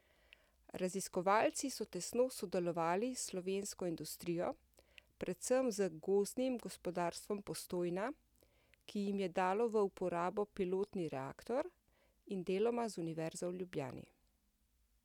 Raziskovalci so tesno sodelovali s slovensko industrijo, predvsem z Gozdnim gospodarstvom Postojna, ki jim je dalo v uporabo pilotni reaktor, in deloma z Univerzo v Ljubljani.